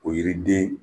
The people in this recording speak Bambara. O yiriden